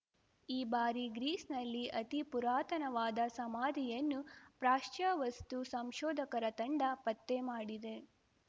ಈ ಬಾರಿ ಗ್ರೀಸ್‌ನಲ್ಲಿ ಅತಿ ಪುರಾತನವಾದ ಸಮಾಧಿಯನ್ನು ಪ್ರಾಚ್ಯವಸ್ತು ಸಂಶೋಧಕರ ತಂಡ ಪತ್ತೆ ಮಾಡಿದೆ